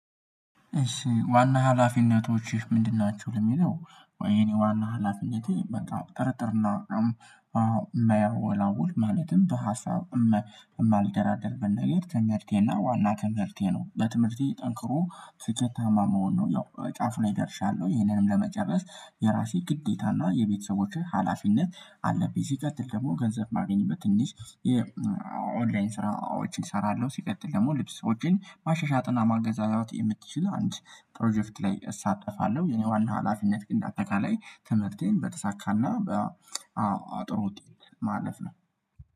ዋና ሀላፊነቶችህ ምንድን ናቸው? ለሚለው የኔ ዋና ሀላፊነቴ በጣም ጠርጥርና መያወላወል ማለትም በሀሳብ እማልደራደር ብናየው ትምርቴና ዋና ትምህርቴ ነው። በትምህርቴ ጠንክሮ ስኬታማ መሆን ነው። ያው ጫፍ ላይ ደርሻለሁ ይሄንንም ለመጨረስ የራሴ ግዴታና የቤተሰቦቼ ሀላፊነት አለብኝ። ሲቀጥል ደግሞ ገንዘብ ማግኘት ትንሽ የኦንላይን ስራዎችን እሰራለሁ። ሲቀጥል ደግሞ ልብሶችን ማሻሻጥ ማገዛዛት የምትችል አንድ ፕሮጀክት ላይ እሳተፋለሁ። የኔ ዋና ሀላፊነት ግን በአጠቃላይ ትምህርቴን በተሳካና በጥሩ ውጤት ማለፍ ነው።